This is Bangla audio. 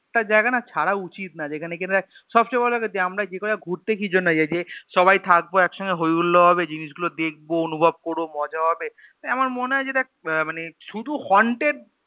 জায়গা না ছাড়া উচিত না যেখানে কিনা দেখ সবচেয়ে বড় কথা যে আমরা ঘুরতে কিজন্য যাই যে সবাই থাকব একসঙ্গে হইহুল্লোড় হবে জিনিস গুলো দেখবো অনুভব করবো মজা হবে আমার মনে হয় যে দেখ আহ মানে শুধু Haunted